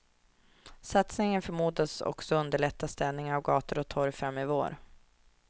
Satsningen förmodas också underlätta städningen av gator och torg fram i vår.